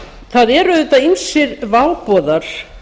það eru auðvitað ýmsir váboðar